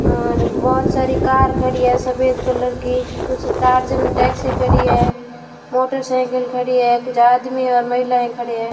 बहोत सारी कार खड़ी हैं सफेद कलर की कुछ टार्जन टैक्सी खड़ी है मोटरसाइकिल खड़ी है कुछ आदमी और महिलाएं खड़े हैं।